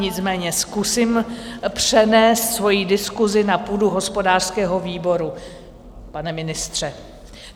Nicméně zkusím přenést svoji diskusi na půdu hospodářského výboru, pane ministře.